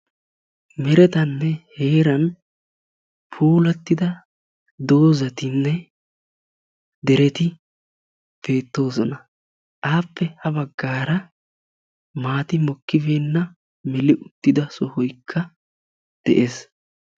Meeretaninne heeran puulattida dozzatinne dereti beettoosona. Appe ha baggaara maati mokkobeenna meli uttida sohoykka de'ees.